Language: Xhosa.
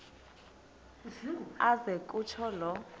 aze kutsho la